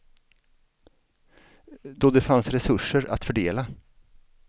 Då det fanns resurser att fördela.